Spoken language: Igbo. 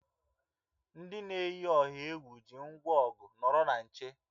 Ndị na-eyi ọha egwu ji ngwa ọgụ, nọrọ na nche!